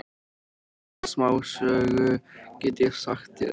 Eina smásögu get ég sagt þér.